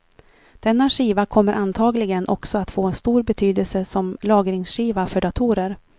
Denna skiva kommer antagligen också att få stor betydelse som lagringsskiva för datorer.